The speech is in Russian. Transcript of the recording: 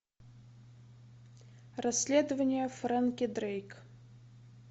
расследование фрэнки дрейк